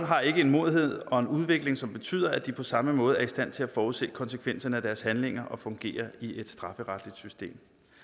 har ikke en modenhed og en udvikling som betyder at de på samme måde er i stand til at forudsige konsekvenserne af deres handlinger og fungere i et strafferetligt system